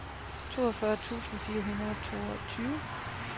toogfyrre tusind fire hundrede og toogtyve